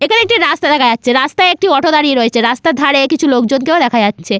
এখানে একটি রাস্তা দেখা যাচ্ছে রাস্তায় একটি অটো দাঁড়িয়ে রয়েছে রাস্তার ধারে কিছু লোকজনকেও দেখা যাচ্ছে।